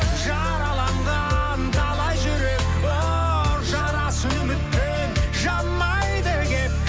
жараланған талай жүрек бұл жарасын үмітпен жамайды келіп